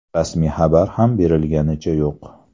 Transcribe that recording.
Rasmiy xabar ham berilganicha yo‘q.